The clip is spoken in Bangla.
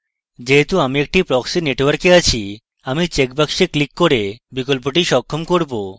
যেহেতু আমি একটি proxy network আছি আমি checkbox বক্সে ক্লিক করে বিকল্পটি সক্ষম করব